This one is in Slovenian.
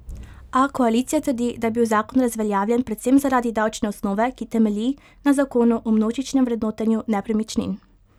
A koalicija trdi, da je bil zakon razveljavljen predvsem zaradi davčne osnove, ki temelji na zakonu o množičnem vrednotenju nepremičnin.